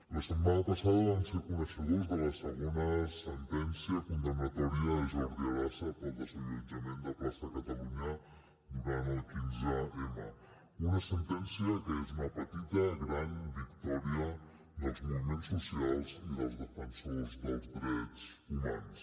la setmana passada vam ser coneixedors de la segona sentència condemnatòria de jordi arasa pel desallotjament de plaça catalunya durant el quinze m una sentència que és una petita gran victòria dels moviments socials i dels defensors dels drets humans